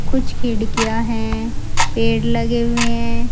कुछ खिड़कियां है पेड़ लगे हुआ है।